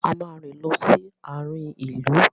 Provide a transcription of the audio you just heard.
A máa rìn lọ sí àarin ìlú.